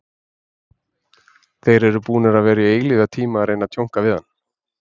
Þeir eru búnir að vera í eilífðartíma að reyna að tjónka við hann.